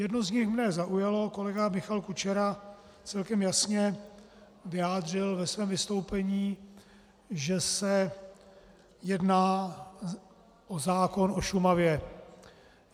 Jedno z nich mě zaujalo - kolega Michal Kučera celkem jasně vyjádřil ve svém vystoupení, že se jedná o zákon o Šumavě.